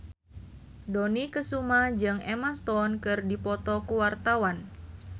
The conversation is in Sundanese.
Dony Kesuma jeung Emma Stone keur dipoto ku wartawan